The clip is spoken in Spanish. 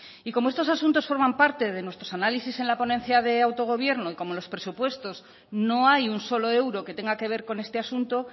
y como estos asuntos forman parte de nuestros análisis en la ponencia de autogobierno y como en los presupuestos no hay un solo euro que tenga que ver con este asunto